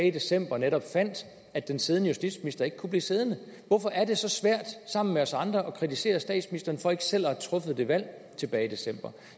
i december netop fandt at den siddende justitsminister ikke kunne blive siddende hvorfor er det så svært sammen med os andre at kritisere statsministeren for ikke selv at have truffet det valg tilbage i december